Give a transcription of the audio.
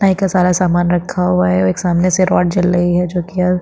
नाई का सारा सामान रखा हुआ है एक सामने से रॉड जल रही है जो की--